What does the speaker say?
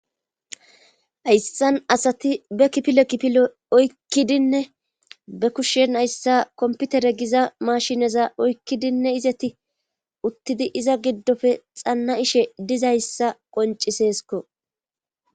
ayssan asati be kipile kipilo oykkidinne be kushshen ayssa komputere giza mashineza oykkidinne izeti uttidi iza giddofe xanna ishe dizayssa qonciseesko